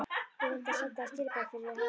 Ég reyndi að senda þér skilaboð yfir hafið.